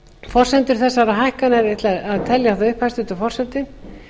forsendur þessara hækkana ég ætla að telja þær upp hæstvirtur forseti